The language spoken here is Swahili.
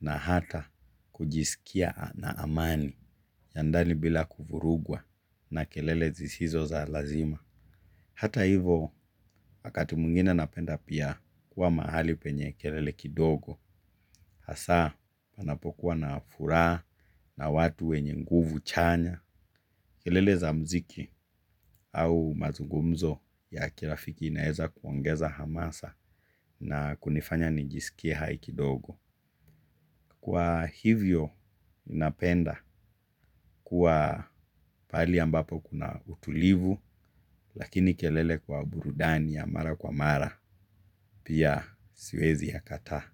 na hata kujisikia na amani ya ndani bila kufurugwa na kelele zisizo za lazima. Hata hivo wakati mqingine napenda pia kuwa mahali penye kelele kidogo. Hasa panapokuwa na furaha na watu wenye nguvu chanya. Kelele za mziki au mazungumzo ya kirafiki inaeza kuongeza hamasa na kunifanya nijisikie hai kidogo. Kwa hivyo napenda kuwa pahali ambapo kuna utulivu. Lakini kelele kwa burudani ya mara kwa mara. Pia siwezi yakataa.